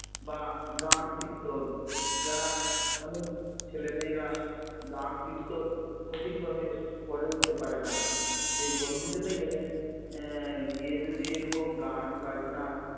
বা গান কীর্তন যারা অনেক ছেলেমেয়েরা গান কীর্তন সঠিকভাবে পড়ে উঠতে পারে না সেই বনভোজনে গেলে এ গিয়ে যদি এরকম গান বাজনা